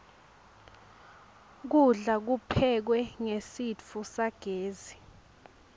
kudla kuphekwe ngesitfu sagezi